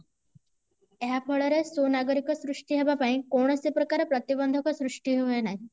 ଏହା ଫଳରେ ସୁନାଗରିକ ସୃଷ୍ଟି ହେବା ପାଇଁ କୌଣସି ପ୍ରକାର ପରତିବନ୍ଧକ ସୃଷ୍ଟି ହୁଏ ନାହିଁ